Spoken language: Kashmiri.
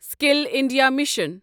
skill India mission